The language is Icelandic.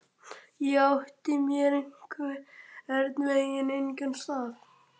Ég átti mér einhvern veginn engan stað.